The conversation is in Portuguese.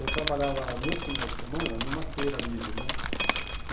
Eu trabalhava nos finais de semana numa feira livre, né?